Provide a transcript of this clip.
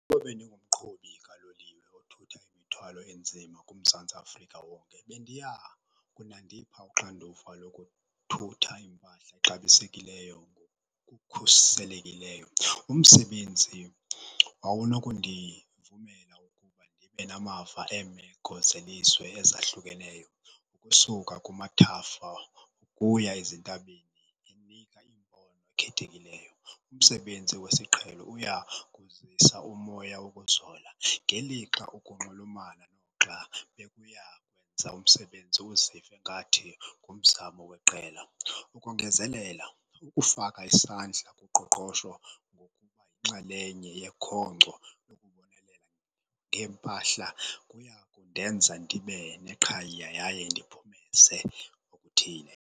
Ukuba bendinguqhubi kaloliwe othutha imithwalo enzima kuMzantsi Afrika wonke bendiya kunandipha uxanduva lokuthutha iimpahla exabisekileyo ngokukhuselekileyo. Umsebenzi wawunokundivumela ukuba ndibe namava eemeko zelizwe ezahlukeneyo usuka kumathafa ukuya ezintabeni, inika iimbono ekhethekileyo. Umsebenzi wesiqhelo uya kuzisa umoya wokuzola, ngelixa ukunxulumana noxa bebuya kwenza umsebenzi uzive ngathi ngumzamo weqela. Ukongezelela, ukufaka isandla kuqoqosho ngokuba yinxalenye yekhonkco lokubonelela ngeempahla, kuya kundenza ndibene qhayiye yaye ndiphumeze okuthile.